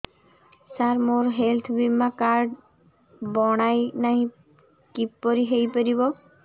ସାର ମୋର ହେଲ୍ଥ ବୀମା କାର୍ଡ ବଣାଇନାହିଁ କିପରି ହୈ ପାରିବ